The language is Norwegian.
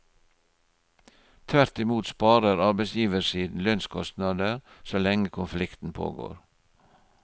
Tvert i mot sparer arbeidsgiversiden lønnskostnader så lenge konflikten pågår.